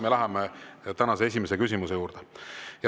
Me läheme tänase esimese küsimuse juurde.